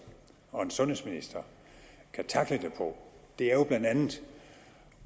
og sundhedsminister kan tackle det på er jo blandt andet